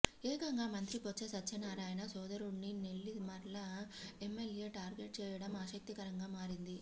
ఏకంగా మంత్రి బొత్స సత్యనారాయణ సోదరుడ్నినెల్లిమర్ల ఎమ్మెల్యే టార్గెట్ చేయడం ఆసక్తికరంగా మారింది